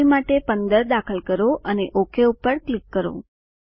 I માટે 15 દાખલ કરો અને ઓક પર ક્લિક કરો